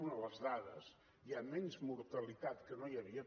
una les dades hi ha menys mortalitat que no hi havia